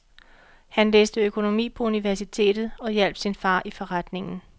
Han læste økonomi på universitetet og hjalp sin far i forretningen.